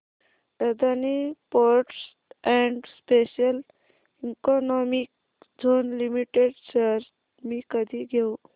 Adani ports and special economic zone limited shares मी कधी घेऊ